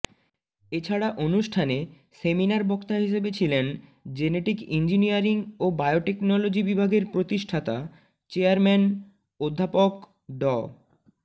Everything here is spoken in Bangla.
এছাড়া অনুষ্ঠানে সেমিনার বক্তা হিসেবে ছিলেন জেনেটিক ইঞ্জিনিয়ারিং ও বায়োটেকনোলজি বিভাগের প্রতিষ্ঠাতা চেয়ারম্যান অধ্যাপক ড